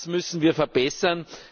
Das müssen wir verbessern!